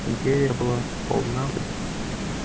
империя была полна